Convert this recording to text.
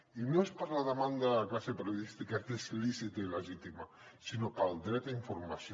i no és per la demanda de la classe periodista que és lícita i legítima sinó pel dret a informació